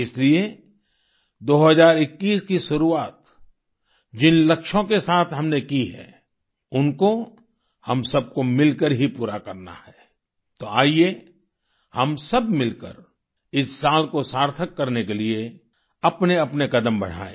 इसलिए 2021 की शुरुआत जिन लक्ष्यों के साथ हमने की है उनको हम सबको मिलकर ही पूरा करना है तो आइए हम सब मिलकर इस साल को सार्थक करने के लिए अपने अपने कदम बढ़ाएं